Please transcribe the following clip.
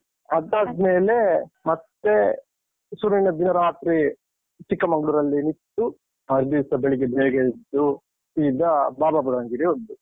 ಅದಾದ್ಮೇಲೆ ಮತ್ತೆ ಶುರುವಿನ ದಿನ ರಾತ್ರಿ ಚಿಕ್ಕಮಂಗ್ಳೂರಲ್ಲಿ ನಿಂತು, ಮರ್ದಿವ್ಸ ಬೆಳಿಗ್ಗೆ ಬೇಗ ಎದ್ದು, ಸೀದ ಬಾಬಾ ಬುಡನ್ಗಿರಿ ಹೋದ್ದು.